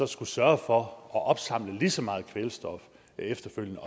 skulle sørge for at opsamle lige så meget kvælstof efterfølgende